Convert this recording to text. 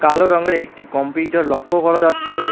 কালো রংয়ের একটি কম্পিটার লক্ষ্য করা যাচ্ছে।